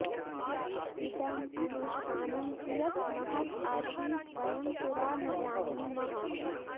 इदं अनुष्ठानम् कियत् महत् आसीत् वयं पुरा न जानीमः